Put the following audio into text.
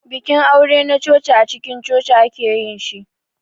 Bikin aure na coci acikin coci ake yin shi.